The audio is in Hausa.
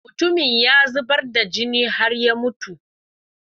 mutumin ya zubar da jini har ya mutu